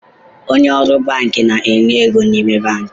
Onye ọrụ banki na-enye ego n’ime banki